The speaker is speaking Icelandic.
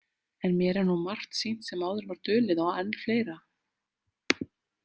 En mér er nú margt sýnt sem áður var dulið og enn fleira.